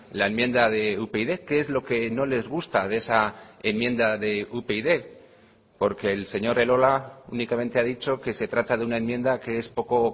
la enmienda de upyd qué es lo que no les gusta de esa enmienda de upyd porque el señor elolaúnicamente ha dicho que se trata de una enmienda que es poco